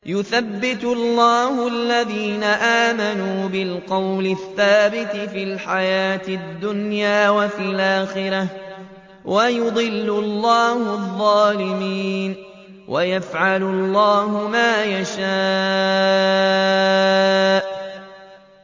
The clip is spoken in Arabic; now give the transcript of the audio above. يُثَبِّتُ اللَّهُ الَّذِينَ آمَنُوا بِالْقَوْلِ الثَّابِتِ فِي الْحَيَاةِ الدُّنْيَا وَفِي الْآخِرَةِ ۖ وَيُضِلُّ اللَّهُ الظَّالِمِينَ ۚ وَيَفْعَلُ اللَّهُ مَا يَشَاءُ